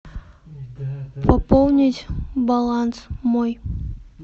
пополнить баланс мой